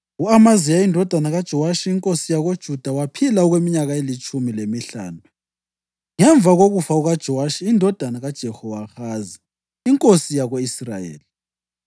U-Amaziya indodana kaJowashi inkosi yakoJuda waphila okweminyaka elitshumi lemihlanu ngemva kokufa kukaJowashi indodana kaJehowahazi inkosi yako-Israyeli.